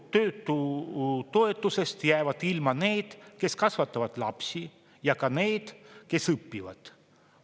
Töötutoetusest jäävad ilma need, kes kasvatavad lapsi, ja ka need, kes õpivad.